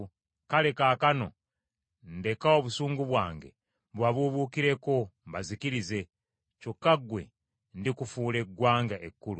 Kale, kaakano ndeka obusungu bwange bubabuubuukireko, mbazikirize; kyokka ggwe ndikufuula eggwanga ekkulu.”